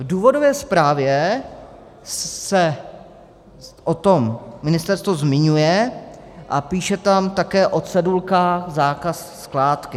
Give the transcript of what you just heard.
V důvodové zprávě se o tom ministerstvo zmiňuje a píše tam také o cedulkách Zákaz skládky.